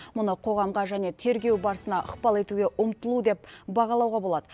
мұны қоғамға және тергеу барысына ықпал етуге ұмтылу деп бағалауға болады